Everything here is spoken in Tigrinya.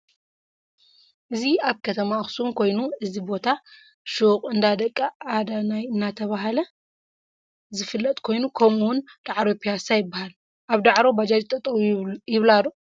እዚ አብ ከማ አከሱም ኮይኑ እዚ ቦታ ሸቅ እንዳ ደቂ አዳነይ እናተ ባሃለ ዝፍለጥ ኮይኑ ከመኡውን ዳዕሮ ፒየሳ ይበሃል ።አብ ዳዕሮ ባጃጅ ጠጠው ይብላ ዶ ?